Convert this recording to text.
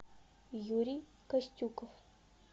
юрий костюков